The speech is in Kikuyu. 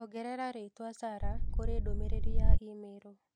Ongerera rĩitwa Sarah kurĩ ndũmĩrĩri ya i-mīrū